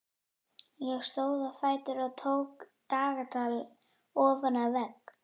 Ég stóð á fætur og tók dagatal ofan af vegg.